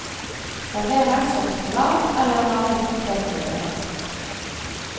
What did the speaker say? Serveres som salat eller vanlig potettilbehør.